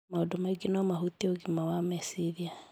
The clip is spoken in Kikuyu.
Maũndũ maingĩ no mahutie ũgima wa meciria,